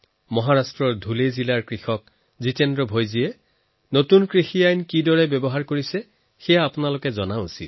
মহাৰাষ্ট্ৰৰ ধুলে জিলাৰ কৃষক জিতেন্দ্ৰ ভায়ে নতুন কৃষি আইনৰ প্ৰয়োগ কেনেকৈ কৰিছে সেয়া আপোনালোকেও জনা দৰকাৰ